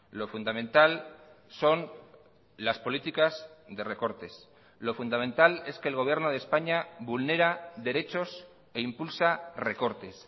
lo fundamental son las políticas de recortes lo fundamental es que el gobierno de españa vulnera derechos e impulsa recortes